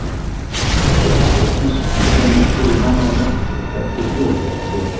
Gerði Þórdís sem fyrir hana var lagt og gekk til stofu að því loknu.